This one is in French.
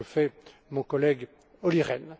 C'est ce que fait mon collègue Olli